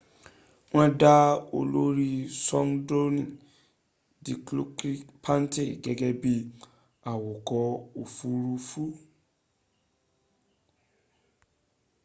won da olori skwodroni dilokrit pattavee gege bi awako ofururu